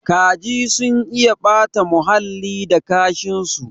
Kaji sun iya ɓata huhalli da kashin su